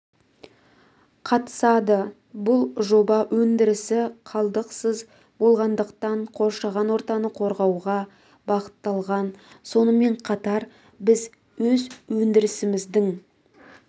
қатысады бұл жоба өндірісі қалдықсыз болғандықтан қоршаған ортаны қорғауға бағытталған сонымен қатар біз өз өндірісіміздің